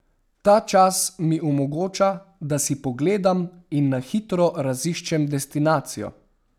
Ta čas mi omogoča, da si pogledam in na hitro raziščem destinacijo.